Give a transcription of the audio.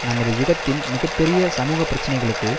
நமது யுகத்தின் மிக பெரிய சமூகப்பிரச்சனைகளுக்கு